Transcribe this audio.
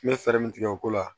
N bɛ fɛɛrɛ min tigɛ o ko la